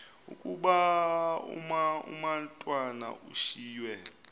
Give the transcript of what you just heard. ukuba umatwana ushiywe